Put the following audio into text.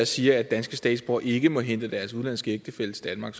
siger at danske statsborgere ikke må hente deres udenlandske ægtefælle til danmark